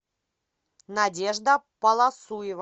надежда полосуева